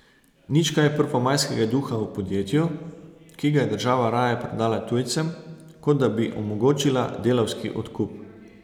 Nič kaj prvomajskega duha v podjetju, ki ga je država raje prodala tujcem, kot da bi omogočila delavski odkup.